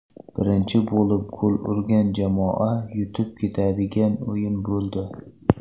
Birinchi bo‘lib gol urgan jamoa yutib ketadigan o‘yin bo‘ldi.